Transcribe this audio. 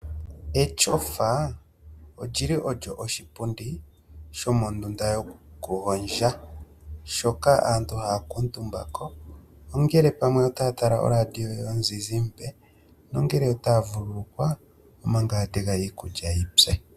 Etyofa olyi li olyo oshipundi shomondunda yokugondja. Shoka aantu haya kuutumba ko ongele pamwe otaya tala oradio yomuzizimbe, ongele otaya vululukwa omaga ya tega iikulya yi pye.